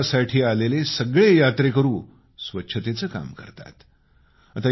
गावात दर्शनासाठी आलेले सगळे यात्रेकरू स्वच्छतेचं काम करतात